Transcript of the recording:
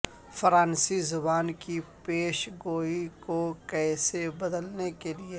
فرانسیسی زبان کی پیشگوئی کو کیسے بدلنے کے لئے